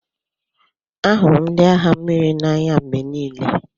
Ahụrụ m ndị agha mmiri n'anya mgbe niile.